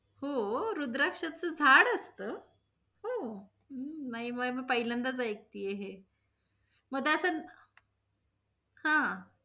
हो~ रुद्रक्षच झाड असत? हो, हम्म नहीं मी पहिल्याच ऐकतिये हे. मदास् हा